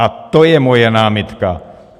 A to je moje námitka.